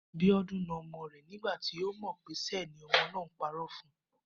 Bíó̩dún na o̩mo̩ rè̩ nígbà tí ó mò̩ pé s̩e ni o̩mo̩ náà ń paró̩ fun